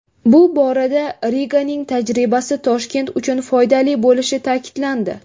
Bu borada Riganing tajribasi Toshkent uchun foydali bo‘lishi ta’kidlandi.